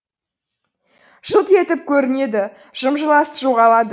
жылт етіп көрінеді жым жылас жоғалады